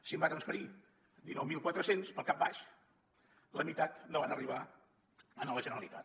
si en va transferir dinou mil quatre cents pel cap baix la meitat no van arribar a la generalitat